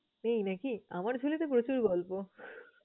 নেই নাকি? আমার ঝুলিতে প্রচুর গল্প।